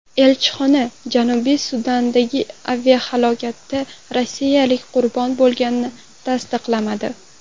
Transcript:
Elchixona Janubiy Sudandagi aviahalokatda rossiyaliklar qurbon bo‘lganini tasdiqlamadi.